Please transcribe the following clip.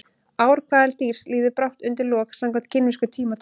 Ár hvaða dýrs líður brátt undir lok samkvæmt kínversku tímatali?